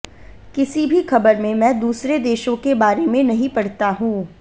किसी भी खबर में मैं दूसरे देशों के बारे में नहीं पढ़ता हूं